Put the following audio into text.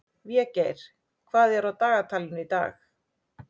Végeir, hvað er á dagatalinu í dag?